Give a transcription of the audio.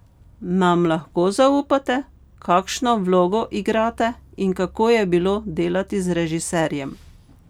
Nam lahko zaupate, kakšno vlogo igrate in kako je bilo delati z režiserjem?